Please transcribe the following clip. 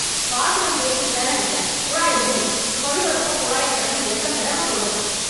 பாத்திரம் தேய்ச்சிட்டுதான இருக்கே, குழாயை மூடு... கழுவறப்போ குழாயை தெறன்னு எத்தன தடவை சொல்றது...